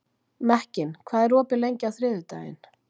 Mekkin, hvað er opið lengi á þriðjudaginn?